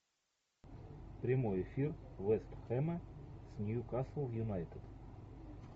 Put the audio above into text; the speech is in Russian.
прямой эфир вест хэма с ньюкасл юнайтед